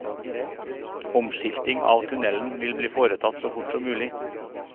Omskilting av tunnelen vil bli foretatt så fort som mulig.